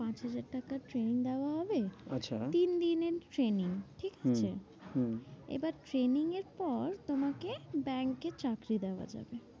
পাঁচ হাজার টাকার training দেয়াও হবে। আচ্ছা তিন দিনের training ঠিকাছে? হম হম এবার training এর পর, তোমাকে ব্যাঙ্কে চাকরি দেওয়া যাবে।